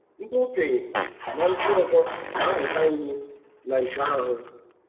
Ndị okenye na ndị ọzọ ga amụta ihe na nke ahụ.